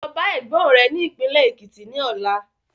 Lọ bá Ẹ̀gbọ́n rẹ ni ìpínlẹ́ Ekiti ni ọ̀la.